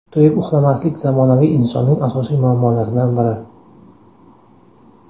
To‘yib uxlamaslik zamonaviy insonning asosiy muammolaridan biri.